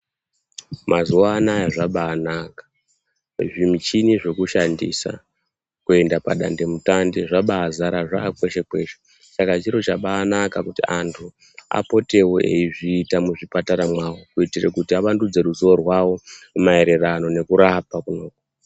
Mazuwa anaa zvabaanaka zvimuchini zvekushandisa kuenda padandemutande zvabaazara zvaakweshe kweshe Saka chiro chakabanaka kuti anthu apotewo eiizviita muzvipatara zvavo kuti vavandudze ruzivo rwavo maererano nekurapa.